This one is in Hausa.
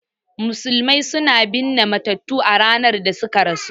Musulmai suna binne matattu a ranar da suka rasu